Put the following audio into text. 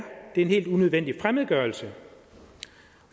en helt unødvendig fremmedgørelse